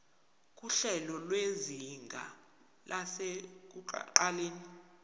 nguhlelo lwezinga lasekuqaleni